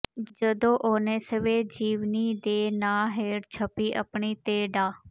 ਜਦੋਂ ਉਹਨੇ ਸਵੈਜੀਵਨੀ ਦੇ ਨਾਂ ਹੇਠ ਛਪੀ ਆਪਣੀ ਤੇ ਡਾ